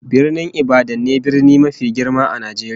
Birnin Ibadan ne brni mafi girma a Najeriya